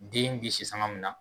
Den be sisanga min na.